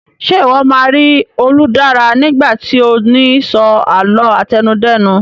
Ṣe iwọ ma ri Oludara nigba ti o ni so àlọ́ àtẹnudẹ́nu